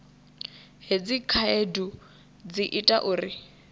hedzi khaedu dzi ita uri